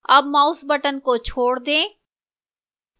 अब mouse button को छोड़ दें